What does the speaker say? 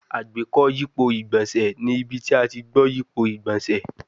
Agbeko yipo igbonse ni ibi ti a ti gbo yipo igbonse